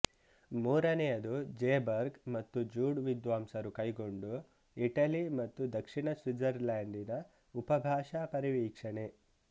ಮೂರನೆಯದು ಜೇಬರ್ಗ್ ಮತ್ತು ಜೂಡ್ ವಿದ್ವಾಂಸರು ಕೈಗೊಂಡು ಇಟಲಿ ಮತ್ತು ದಕ್ಷಿಣ ಸ್ವಿಟ್ಜರ್ಲೆಂಡಿನ ಉಪಭಾಷಾ ಪರಿವೀಕ್ಷಣೆ